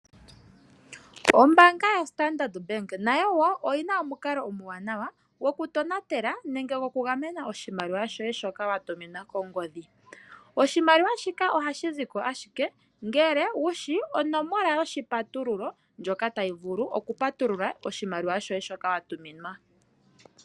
Ombaanga yaStandard Bank nayo wo oyi na omukalo omuwanawa gokutonatela nenge gokugamena oshimaliwa shoye shoka wa tuminwa kongodhi. Oshimaliwa shika ohashi zi ko ashike ngele wu shi onomola yoshipatululo ndjoka tayi vulu okupatulula oshimaliwa shoye shoka wa tuminwa.